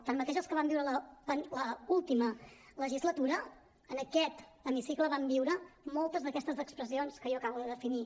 tanmateix els que van viure l’última legislatura en aquest hemicicle van viure moltes d’aquestes expressions que jo acabo de definir